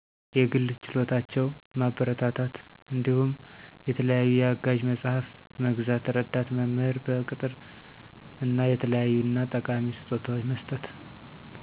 የግል ችሎታቸው ማበረታታትእንዳሁም የተለያዪ የአጋዥ መጸሐፍት መግዛት፣ ረዳት መምህር በቅጠር እና የተለያዪእና ጠቃሚ ስጦታዎች መስጠት።